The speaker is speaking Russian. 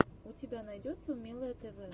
у тебя найдется умелое тв